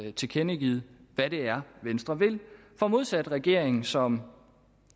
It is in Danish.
er tilkendegivet hvad det er venstre vil for modsat regeringen som